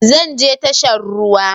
Zan je tashar ruwa